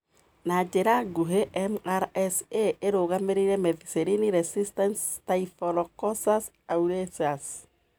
Na njĩra ngũhĩ:MRSA ĩrũgamĩrĩire methicillin resistant Staphylococcus aureus.